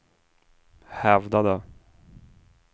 hävdade